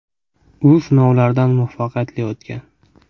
U sinovlardan muvaffaqiyatli o‘tgan.